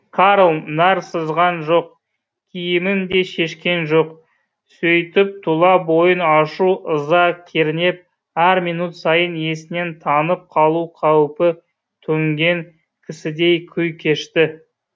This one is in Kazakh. карл нәр сызған жоқ киімін де шешкен жоқ сөйтіп тұла бойын ашу ыза кернеп әр минут сайын есінен танып қалу қаупі төнген кісідей күй кешті